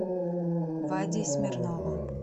вадей смирновым